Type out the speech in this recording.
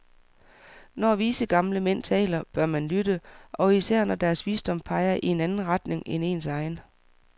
Når vise, gamle mænd taler, bør man lytte, og især når deres visdom peger i anden retning end ens egen.